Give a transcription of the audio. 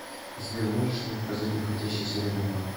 сбер можешь мне показать находящийся рядом банк